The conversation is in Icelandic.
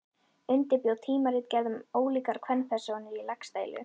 Undirbjó tímaritgerð um ólíkar kvenpersónur í Laxdælu.